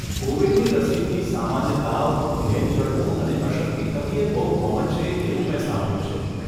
કોવિડની રસીથી સામાન્ય તાવ, ઘેન ચડવું અને અશક્તિ થવી એ બહુ કોમન છે એવું મે સાંભળ્યું છે.